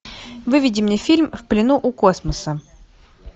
выведи мне фильм в плену у космоса